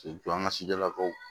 K'i jɔ an ka so jɔ lakaw